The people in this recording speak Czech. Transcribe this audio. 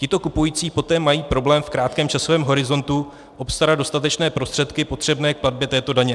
Tito kupující poté mají problém v krátkém časovém horizontu obstarat dostatečné prostředky potřebné k platbě této daně.